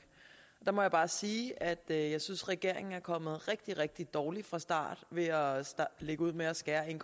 der må jeg bare sige at jeg synes regeringen er kommet rigtig rigtig dårligt fra start ved at lægge ud med at skære en